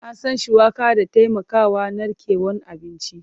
An san shuwaka da taimakawa narkewan abinci.